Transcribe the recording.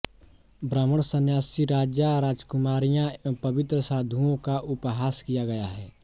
ब्राह्राण संन्यासी राजा राजकुमारियाँ एवं पवित्र साधुओं का उपहास किया गया है